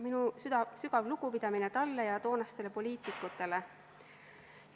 Minu sügav lugupidamine talle ja toonastele poliitikutele!